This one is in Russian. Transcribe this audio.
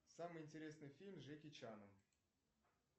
самый интересный фильм с джеки чаном